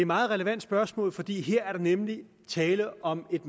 meget relevant spørgsmål for her er der nemlig tale om et